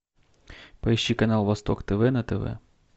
поищи канал восток тв на тв